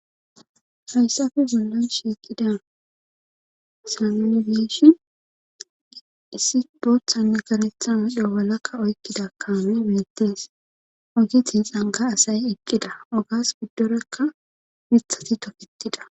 hayssafe bollan shiiqidaysa nuni beyishi issi boothanne garethan odoowalakka oykkida kaame meettes ogithi xanga asay eqqida ogas biddorakka mithati toketida